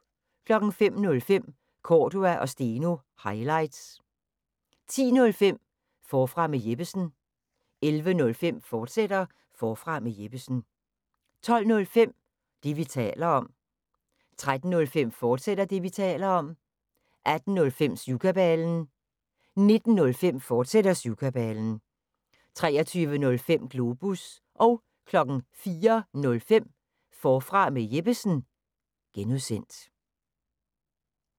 05:05: Cordua & Steno – highlights 10:05: Forfra med Jeppesen 11:05: Forfra med Jeppesen, fortsat 12:05: Det, vi taler om 13:05: Det, vi taler om, fortsat 18:05: Syvkabalen 19:05: Syvkabalen, fortsat 23:05: Globus 04:05: Forfra med Jeppesen (G)